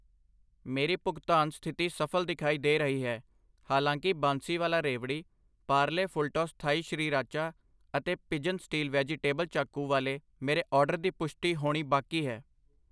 ਮੇਰੀ ਭੁਗਤਾਨ ਸਥਿਤੀ ਸਫਲ ਦਿਖਾਈ ਦੇ ਰਹੀ ਹੈ, ਹਾਲਾਂਕਿ Bansiwala Revdi, Parle Fulltoss Thai Sriracha ਅਤੇ ਪਿਜਨ ਸਟੀਲ ਵੈਜੀਟੇਬਲ ਚਾਕੂ ਵਾਲੇ ਮੇਰੇ ਆਰਡਰ ਦੀ ਪੁਸ਼ਟੀ ਹੋਣੀ ਬਾਕੀ ਹੈ